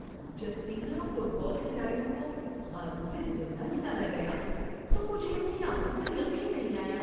جب تیرہ football کھلاڑیوں کو غاروں سے زندہ نکالا گیا تو مجھے اپنی آنکھوں پر یقین نہیں آیا۔